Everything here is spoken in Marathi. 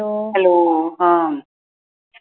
अं hello हम्म